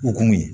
O kun ye